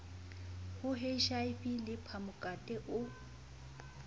ho hiv le phamokate o